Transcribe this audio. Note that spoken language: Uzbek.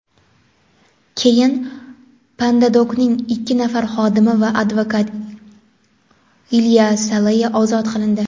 Keyin PandaDoc’ning ikki nafar xodimi va advokat Ilya Salei ozod qilindi.